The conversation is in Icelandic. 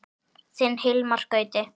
Þinn Hilmar Gauti.